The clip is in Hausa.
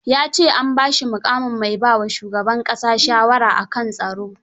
Ya ce an ba shi muƙamin mai ba wa shugab ƙasa shawara a kan tsaro.